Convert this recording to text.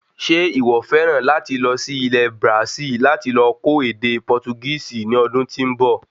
Ṣe iwọ fẹràn láti lọ sí Ilẹ̀ Brasil láti lọ kò ède Portugisi ní ọdún tí nbọ?